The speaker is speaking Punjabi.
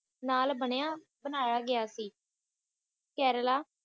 ਨਾਲ ਬਣਿਆ ਬਨਾਯਾ ਗਿਆ ਸੀ ਕੇਰਲਾ